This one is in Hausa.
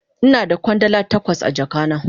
Ina da Kwandala takwas a jaka na.